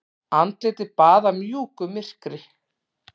Andlitið baðað mjúku myrkri.